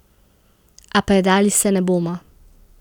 A predali se ne bomo.